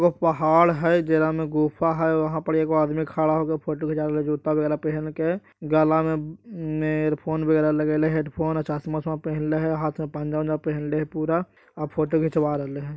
एगो पहाड़ है जेरा में गुफा है वहां पर एगो आदमी खड़ा होके फोट खिचावल जूता वगेरह पहन के गला में इयर फोन वगेरह लगेले हेडफोन चस्मा वस्मा पहन ले है और हाथ में पंजा वंजा पहनले वा पूरा और फोटो खिंचवा राहिल हई ।